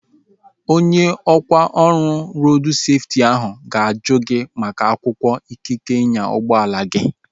Onye ọkwá ọrụ rodu seftị ahu ga-ajụ gị maka akwụkwọ ikike ịnya ụgbọala gi